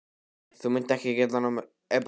Þú munt ekki geta máð þær burt.